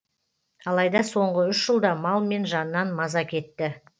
алайда соңғы үш жылда мал мен жаннан маза кетті